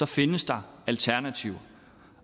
findes der alternativer